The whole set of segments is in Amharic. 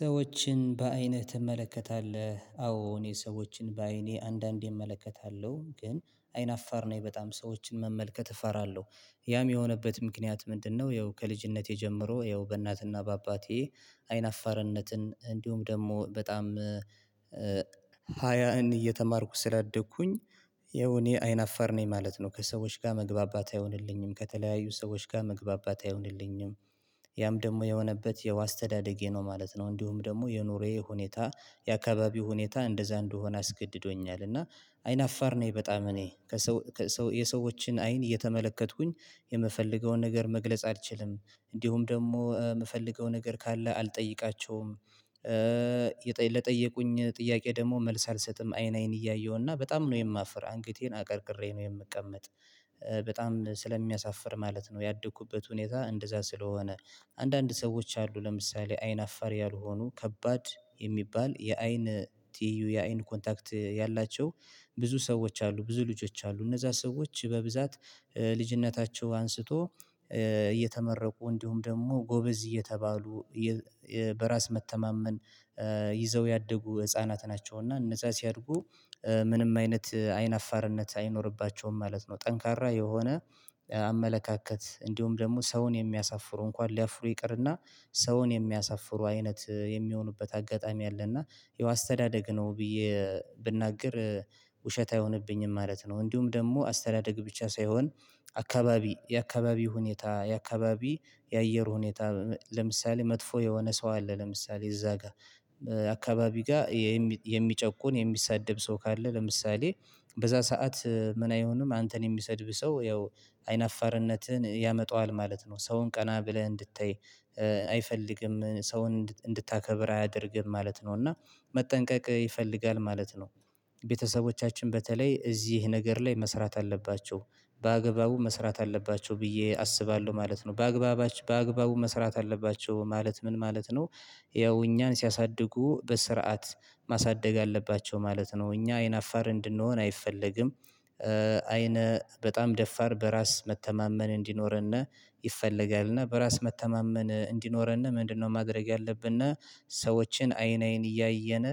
ሰዎችን በአይንህ ትመለከታለህ? አዎ እኔ ሰዎችን በአይኔ አንዳንዴ እመለከታለሁ ግን አይናፋር ነኝ በጣም ሰዎችን መመልከት እፈራለሁ። ያም የሆነበት ምክንያት ምንድን ነው? ያው ከልጅነቴ ጀምሮ ያው በእናትና በአባቴ አይን አፋርነትን እንዲሁም ደግሞ በጣም ሀያን እየተማርኩ ስላደግኩኝ ያው እኔ አይናፈር ነኝ ማለት ነው። ከሰዎች ጋር መግባባት አይሆንልኝም ከተለያዩ ሰዎች ጋር መግባባት አይሆንልኝም። ያም ደግሞ የሆነበት ያው አስተዳደጌ ነው ማለት ነው። እንዲሁም ደግሞ የኑሬዬ ሁኔታ የአካባቢ ሁኔታ እንደዛ እንደሆነ አስገድዶኛል እና አይናፋር ነኝ በጣም እኔ የሰዎችን አይን እየተመለከትኩኝ የምፈልገውን ነገር መግለጽ አልችልም። እንዲሁም ደግሞ የምፈልገው ነገር ካለ አልጠይቃቸውም። ለጠየቁኝ ጥያቄ ደግሞ መልስ አልሰጥም አይን አይን እያየሁና በጣም ነው የማፍር አንገቴን አቀርቅሬ ነው የምቀመጥ በጣም ስለሚያሳፍር ማለት ነው። ያደኩበት ሁኔታ እንደዛ ስለሆነ አንዳንድ ሰዎች አሉ ለምሳሌ አይን አፋር ያልሆኑ ከባድ የሚባል የአይን ትይዩ የአይን ኮንታክት ያላቸው። ብዙ ሰዎች አሉ ብዙ ልጆች አሉ እነዛ ሰዎች በብዛት ከልጅነታቸው አንስቶ እየተመረቁ እንዲሁም ደግሞ ጎበዝ እየተባሉ በራስ መተማመን ይዘው ያደጉ ህፃናት ናቸው። እና እነዛ ሲያድጉ ምንም አይነት አይን አፋርነት አይኖርባቸውም ማለት ነው። ጠንካራ የሆነ አመለካከት እንዲሁም ደግሞ ሰውን የሚያሳፍሩ እንኳን ሊያፍሩ ይቅርና ሰውን የሚያሳፍሩ አይነት የሚሆኑበት አጋጣሚ አለ። እና ያው አስተዳደግ ነው ብዬ ብናገር ውሸት አይሆንብኝም ማለት ነው። እንዲሁም ደግሞ አስተዳደግ ብቻ ሳይሆን አካባቢ የአካባቢ ሁኔታ የአካባቢ የአየር ሁኔታ ለምሳሌ መጥፎ የሆነ ሰው አለ ለምሳሌ እዛ ጋር አካባቢ ጋር የሚጨቁን የሚሳደብ ሰው ካለ ለምሳሌ በዛ ሰዓት ምን አይሆንም አንተን የሚሰድብህ ሰው ያው አይናፋርነትህን ያመጣዋል ማለት ነው። ሰውን ቀና ብለህ እንድታይ አይፈልግም ሰውን እንድታከብር አያደርግም ማለት ነው እና መጠንቀቅ ይፈልጋል ማለት ነው። ቤተሰቦቻችን በተለይ እዚህ ነገር ላይ መስራት አለባቸው በአግባቡ መስራት አለባቸው ብዬ አስባለሁ ማለት ነው። በአግባባቸው በአግባቡ መስራት አለባቸው ማለት ምን ማለት ነው? ያው እኛን ሲያሳድጉ በስርዓት ማሳደግ አለባቸው ማለት ነው። እኛ አይን አፋር እንድንሆን አይፈለግም አይነ በጣም ደፋር በራስ መተማመን እንዲኖረን ይፈለጋልና በራስ መተማመን እንዲኖረን ምንድነው ማድረግ ያለብን? ሰዎችን አይን አይን እያየን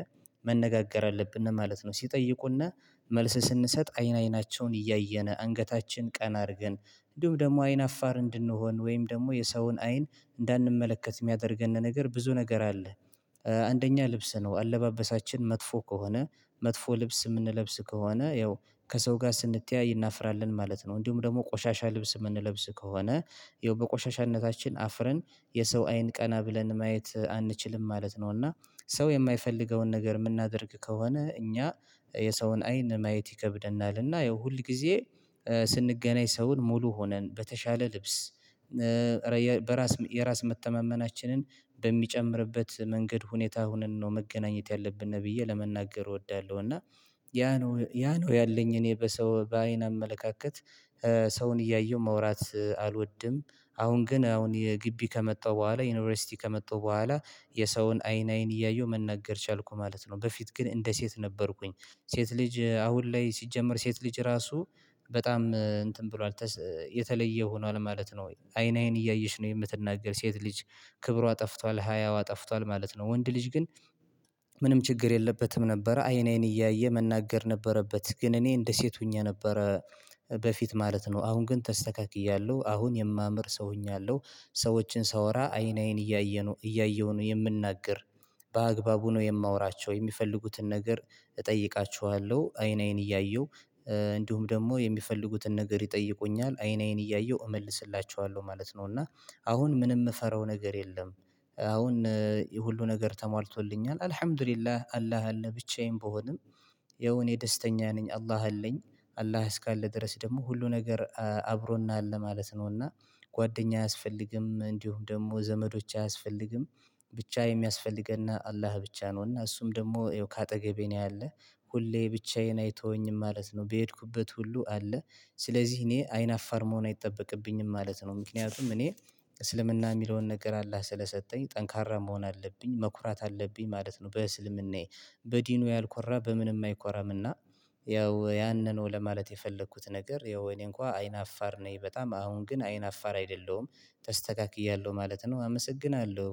መነጋገር አለብን ማለት ነው። ሲጠይቁን መልስ ስንሰጥ አይን አይናቸውን እያየን አንገታችን ቀና አድርገን እንዲሁም ደግሞ አይን አፋር እንድንሆን ወይም ደግሞ የሰውን አይን እንዳንመለከት የሚያደርገን ነገር ብዙ ነገር አለ። አንደኛ ልብስ ነው አለባበሳችን መጥፎ ከሆነ መጥፎ ልብስ የምንለብስ ከሆነ ያው ከሰው ጋር ስንተያይ እናፍራለን ማለት ነው። እንዲሁም ደግሞ ቆሻሻ ልብስ የምንለብስ ከሆነ ያው በቆሻሻነታችን አፍረን የሰው አይን ቀና ብለን ማየት አንችልም ማለት ነው። እና ሰው የማይፈልገውን ነገር የምናደርግ ከሆነ እኛ የሰውን አይን ማየት ይከብደናል እና ያው ሁል ጊዜ ስንገናኝ ሰውን ሙሉ ሆነን በተሻለ ልብስ በራስ የራስ መተማመናችንን በሚጨምርበት መንገድ ሁኔታ ሆነን ነው መገናኘት ያለብን ብዬ ለመናገር እወዳለሁ። እና ያ ነው ነው ያ ነው ያለኝ እኔ በሰው በአይን አመለካከት ሰውን እያየሁ መውራት አልወድም። አሁን ግን አሁን የግቢ ከመጣሁ በኋላ ዩኒቨርሲቲ ከመጣሁ በኋላ የሰውን አይን አይን እያየሁ መናገር ቻልኩ ማለት ነው። በፊት ግን እንደ ሴት ነበርኩኝ ሴት ልጅ አሁን ላይ ሲጀመር ሴት ልጅ ራሱ በጣም እንትን ብሏል የተለየ ሆኗል ማለት ነው። ወይ አይን አይን እያየች ነው የምትናገር ሴት ልጅ ክብሯ ጠፍቷል ሀያዋ ጠፍቷል ማለት ነው። ወንድ ልጅ ግን ምንም ችግር የለበትም ነበረ አይን አይን እያየ መናገር ነበረበት ግን እኔ እንደ ሴት ሆኜ ነበረ። በፊት ማለት ነው አሁን ግን ተስተካክያለሁ አሁን የማምር ሰው ሆኛለሁ። ሰዎችን ሳወራ አይን አይን እያየ ነው እያየሁ ነው የምናገር በአግባቡ ነው የማወራቸው የሚፈልጉትን ነገር እጠይቃችኋለሁ አይን አይን እያየሁ እንዲሁም ደግሞ የሚፈልጉትን ነገር ይጠይቁኛል አይን አይን እያየሁ እመልስላችኋለሁ ማለት ነው። እና አሁን ምንም የምፈራው ነገር የለም። አሁን ሁሉ ነገር ተሟልቶልኛል አልሀምዱሊላህ አላህ አለ ብቻዬን ብሆንም ያው እኔ ደስተኛ ነኝ አላህ አለኝ። አላህ እስካለ ድረስ ደግሞ ሁሉ ነገር አብሮን አለ ማለት ነው። እና ጓደኛ አያስፈልግም እንዲሁ ደግሞ ዘመዶች አያስፈልግም። ብቻ የሚያስፈልግን አላህ ብቻ ነውና እሱም ደግሞ ይኸው ከአጠገቤ ነው ያለህ ሁሌ ብቻዬን አይተወኝም ማለት ነው በሄድኩበት ሁሉ አለ። ስለዚህ እኔ አይን አፋር መሆን አይጠበቅብኝም ማለት ነው። ምክንያቱም እኔ እስልምና የሚለውን ነገር አላህ ስለሰጠኝ ጠንካራ መሆን አለብኝ መኩራት አለብኝ ማለት ነው። በእስልምናዬ በዲኑ ያልኮራ በምንም አይኮራምና። ያው ያንን ነው ለማለት የፈለኩት ነገር ያው እኔ እንኳን አይን አፋር ነኝ በጣም አሁን ግን አይን አፋር አይደለሁም። ተስተካክያለሁ ማለት ነው። አመሰግናለሁ።